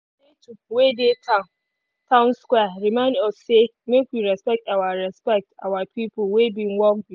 statue wey dey town square remind us say make we respect our respect our people wey bin work before.